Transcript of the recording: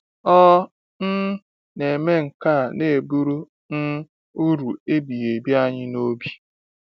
Ọ um na-eme nke a na-eburu um uru ebighị ebi anyị n’obi.